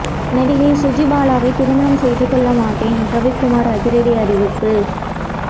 நடிகை சுஜிபாலாவை திருமணம் செய்து கொள்ள மாட்டேன் ரவிக்குமார் அதிரடி அறிவிப்பு